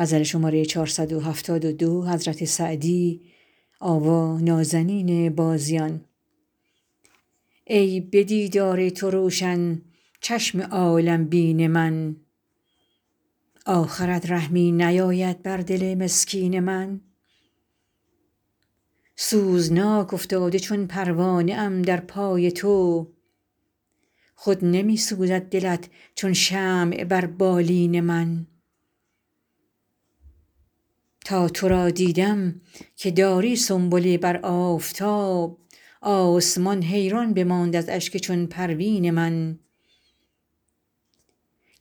ای به دیدار تو روشن چشم عالم بین من آخرت رحمی نیاید بر دل مسکین من سوزناک افتاده چون پروانه ام در پای تو خود نمی سوزد دلت چون شمع بر بالین من تا تو را دیدم که داری سنبله بر آفتاب آسمان حیران بماند از اشک چون پروین من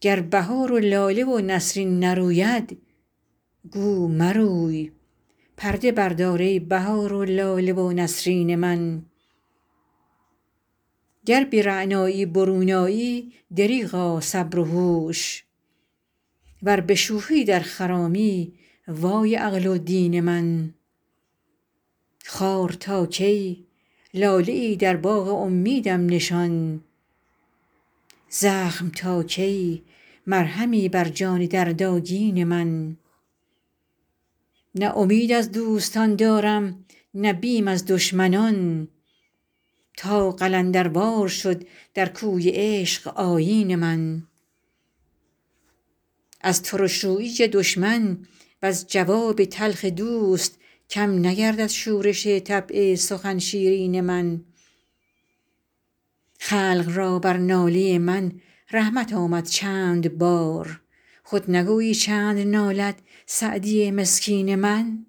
گر بهار و لاله و نسرین نروید گو مروی پرده بردار ای بهار و لاله و نسرین من گر به رعنایی برون آیی دریغا صبر و هوش ور به شوخی در خرامی وای عقل و دین من خار تا کی لاله ای در باغ امیدم نشان زخم تا کی مرهمی بر جان دردآگین من نه امید از دوستان دارم نه بیم از دشمنان تا قلندروار شد در کوی عشق آیین من از ترش رویی دشمن وز جواب تلخ دوست کم نگردد شورش طبع سخن شیرین من خلق را بر ناله من رحمت آمد چند بار خود نگویی چند نالد سعدی مسکین من